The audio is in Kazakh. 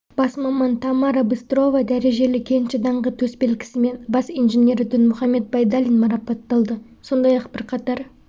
бас маман тамара быстрова дәрежелі кенші даңқы төсбелгісімен бас инженері дінмұхамед байдалин марапатталды сондай-ақ бірқатар